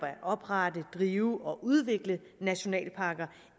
oprette drive og udvikle nationalparker